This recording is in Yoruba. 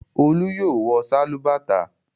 Olú yóò wọ sálúbàtà!